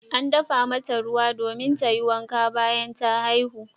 An dafa mata ruwan dimin domin ta yi wanka bayan ta haihu.